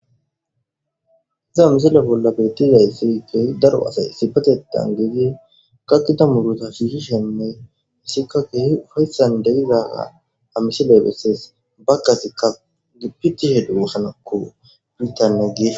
iza misile bolla bettizay sikey daro asay sipatetan geegi kakita muruta suusishenney issikkakke ufayssan degizaga a misiley bessees bakkasekka gipitihe duuhanakko bittanne gees